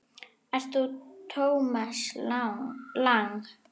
Ert þú Thomas Lang?